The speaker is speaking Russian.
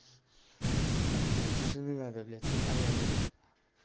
там семчишина блять аяврик